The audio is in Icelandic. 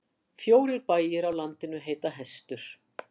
Fjórir bæir á landinu heita Hestur.